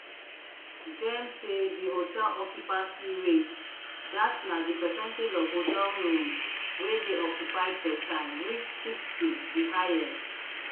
gem say di hotel occupancy rate dat na di percentage of hotel rooms wey dey occupied per time reach sixty di highest